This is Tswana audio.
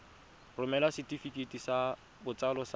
romela setefikeiti sa botsalo sa